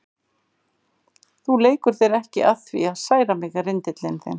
Þú leikur þér ekki að því að særa mig, rindillinn þinn.